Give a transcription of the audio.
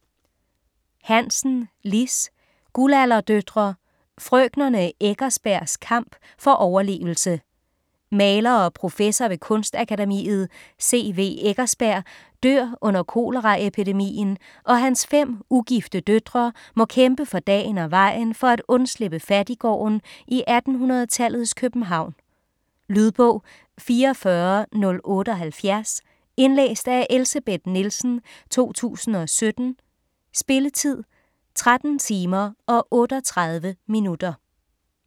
Hansen, Liss: Guldalderdøtre: frøkenerne Eckersbergs kamp for overlevelse Maler og professor ved Kunstakademiet, C. W. Eckersberg dør under koleraepidemien og hans fem ugifte døtre må kæmpe for dagen og vejen for at undslippe fattiggården i 1800-tallets København. Lydbog 44078 Indlæst af Elsebeth Nielsen, 2017. Spilletid: 13 timer, 38 minutter.